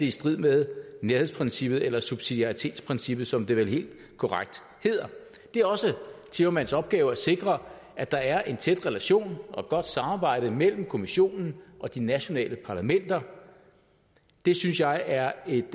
i strid med nærhedsprincippet eller subsidiaritetsprincippet som det vel helt korrekt hedder det er også timmermans opgave at sikre at der er en tæt relation og et godt samarbejde mellem kommissionen og de nationale parlamenter det synes jeg er et